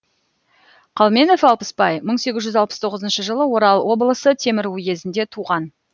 қалменов алпысбай мың сегіз жүз алпыс тоғызыншы жылы орал облысы темір уезінде туған